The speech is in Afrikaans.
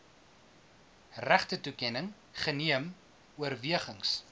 regtetoekenning geneem oorwegings